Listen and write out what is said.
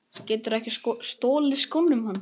Geturðu ekki stolið skónum hans